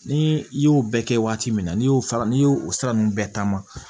Ni i y'o bɛɛ kɛ waati min n'i y'o sara n'i y'o sira ninnu bɛɛ ta ma